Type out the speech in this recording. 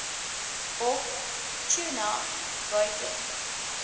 op tuna buiten